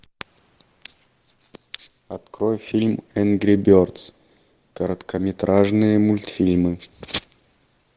открой фильм энгри бердс короткометражные мультфильмы